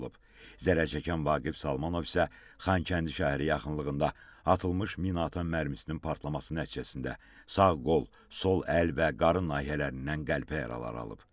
Zərər çəkən Vaqif Salmanov isə Xankəndi şəhəri yaxınlığında atılmış minaatan mərmisinin partlaması nəticəsində sağ qol, sol əl və qarın nahiyələrindən qəlpə yaraları alıb.